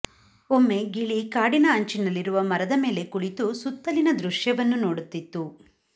ಒಮ್ಮೆ ಗಿಳಿ ಕಾಡಿನ ಅಂಚಿನಲ್ಲಿರುವ ಮರದ ಮೇಲೆ ಕುಳಿತು ಸುತ್ತಲಿನ ದೃಶ್ಯವನ್ನು ನೋಡುತ್ತಿತ್ತು